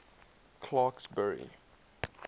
clarksburry